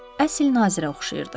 Əsl nazirə oxşayırdı.